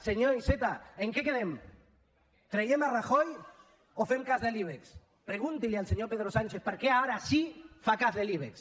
senyor iceta en què quedem traiem rajoy o fem cas de l’ibex pregunti li al senyor pedro sánchez per què ara sí fa cas de l’ibex